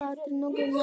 Katrín og Gunnar.